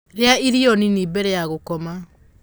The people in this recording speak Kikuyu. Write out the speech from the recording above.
rĩa irio nini mbele ya gukoma